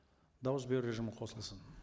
дауыс беру режимі қосылсын